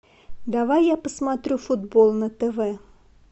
давай я посмотрю футбол на тв